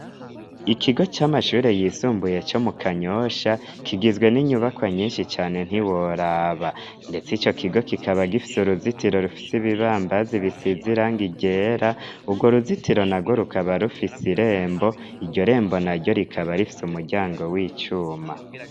Îkigo c'amashure yisumbuye co mu Kanyosha, kigizwe n'inyubakwa nyinshi cane ntiworaba! ndetse ico kigo kikaba gifise uruzitiro rufise ibibambazi bisize irangi ryera. Urwo uruzitiro narwo rukaba rufise irembo, iryo rembo naryo rikaba rifise umuryango w'icuma.